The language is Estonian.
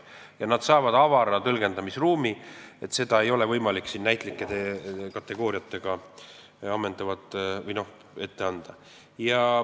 Ja ta saab avara tõlgendamisruumi, seda ei ole võimalik näitlike kategooriatega ammendavalt ette anda.